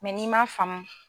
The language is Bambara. n'i man faamu